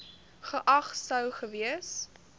geag sou gewees